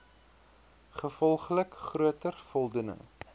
gevolglik groter voldoening